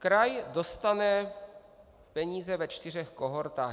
Kraj dostane peníze ve čtyřech kohortách.